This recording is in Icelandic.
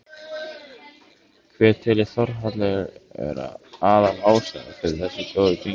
Hver telur Þórhallur vera aðal ástæðuna fyrir þessu góða gengi?